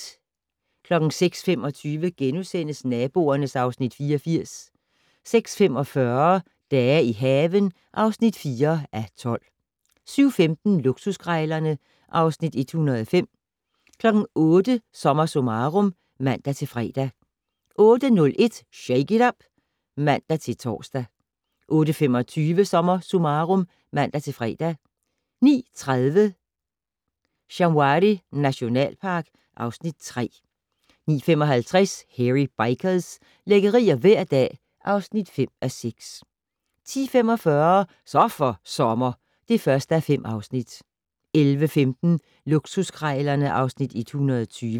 06:25: Naboerne (Afs. 84)* 06:45: Dage i haven (4:12) 07:15: Luksuskrejlerne (Afs. 105) 08:00: SommerSummarum (man-fre) 08:01: Shake it up! (man-tor) 08:25: SommerSummarum (man-fre) 09:30: Shamwari nationalpark (Afs. 3) 09:55: Hairy Bikers - lækkerier hver dag (5:6) 10:45: Så for sommer (1:5) 11:15: Luksuskrejlerne (Afs. 120)